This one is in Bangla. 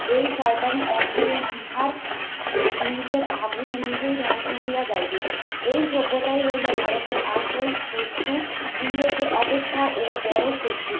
এই শয়তানি অচিরেই ইহার নিজের আগুনে নিজেই ধ্বংস হইয়া যাইবে। এই সভ্যতাই হইলো ভারতের আসল শত্রু, ইংরেজদের অপেক্ষা ও বড় শত্রু।